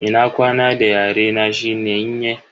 Ina kwana da yare na shine "Nyene".